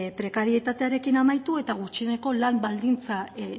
prekarietatearekin amaitu eta gutxieneko lan baldintza